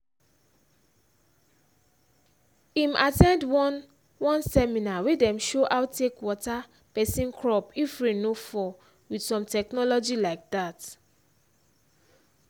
him at ten d one one seminar wey dem show how take water person crop if rain no fall with some technology like that